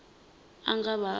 a nga vha a u